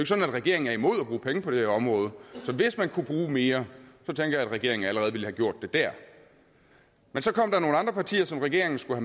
sådan at regeringen er imod at bruge penge på det her område så hvis man kunne bruge mere tænker jeg at regeringen allerede ville have gjort det der men så kom der nogle andre partier som regeringen skulle